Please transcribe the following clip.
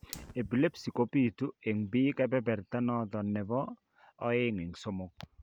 Epilepsy kobitu en biik kebererta noton nebo 2/3